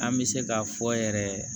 An bɛ se k'a fɔ yɛrɛ